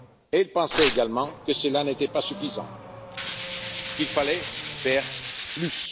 Elle pensait également que cela n'était pas suffisant et qu'il fallait faire